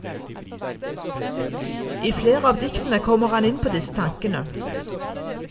I flere av diktene kommer han inn på disse tankene.